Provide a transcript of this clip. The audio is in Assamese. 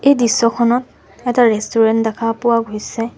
এই দৃশ্যখনত এটা ৰেষ্টুৰেণ্ট দেখা পোৱা গৈছে।